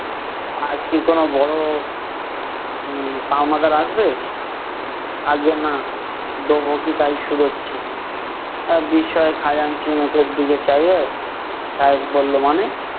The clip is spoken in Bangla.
আজ কি কোনো বড়ো উম পাওনাদার আসবে? আজ্ঞে না । দোবো কি তাই শুধোচ্ছি? আহ বিস্ময়ে খাজাঞ্চির মুখের দিকে চাহিয়ে সাহেব বললো, মানে?